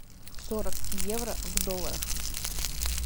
сорок евро в долларах